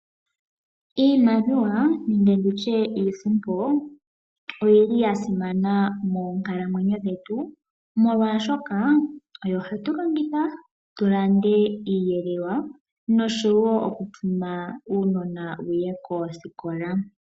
Iimaliwa nenge nditye iisimpo, oyili ya simana moonkalamwenyo dhetu, molwaashoka oyo hatu longitha tu lande iiyelelwa, noshowo okutuma uunona wuye koosikola.